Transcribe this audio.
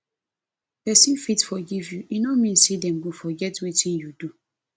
person fit forgive you e no mean say dem go forget wetin you do